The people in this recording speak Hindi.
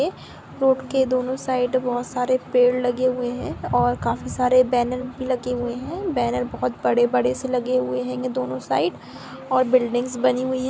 ऐ- रोड के दोनो साइड बहुत सारे पैड लगे हुए है और काफी सारे बैनर भी लगे हुए हैं बैनर बहुत बड़े बड़े से लगे हुए हेंगे दोनों साइड और बिल्डिंग्स बनी हुई--